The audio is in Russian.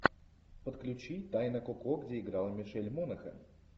подключи тайна коко где играла мишель монахэн